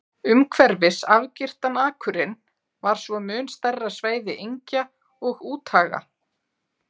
Umhverfis afgirtan akurinn var svo mun stærra svæði engja og úthaga.